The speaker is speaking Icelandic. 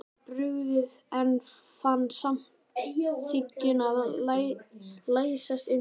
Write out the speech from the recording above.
Mér var brugðið, en fann samt þykkjuna læsast um mig.